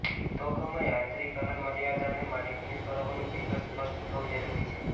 ઉદ્યોગોમાં યાંત્રીકરણની મર્યાદા અને માલિકીના સ્વરૂપોનું ચિત્ર સ્પષ્ટ થવું જરૂરી છે